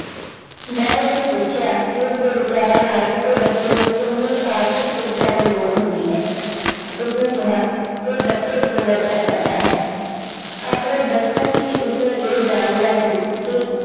ਮੈਂ ਉਸਨੂੰ ਪੁੱਛਿਆ ਕਿ ਉਸਦੇ ਵਿਚਾਰਾਂ ਨਾਲ ਕਿਸੇ ਬੱਚੇ ਨੂੰ ਕਿੰਨੀ ਆਰਥਿਕ ਸਿੱਖਿਆ ਦੀ ਲੋੜ ਹੁੰਦੀ ਹੈ ਉਸਨੇ ਕਿਹਾ ਇਹ ਬੱਚੇ ਤੇ ਨਿਰਭਰ ਕਰਦਾ ਹੈ ਆਪਣੇ ਬਚਪਨ 'ਚ ਹੀ ਉਸਨੇ ਇਹ ਜਾਣ ਲਿਆ ਸੀ ਕਿ